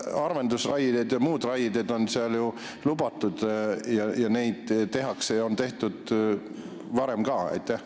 Harvendusraie ja muud raied on seal ju lubatud: neid tehakse ja on ka varem tehtud.